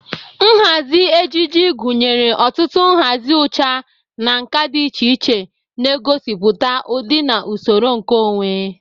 Nhazi ejiji gunyere ọtụtụ nhazi ucha na nka dị iche iche na-egosipụta ụdị na usoro nke onwe.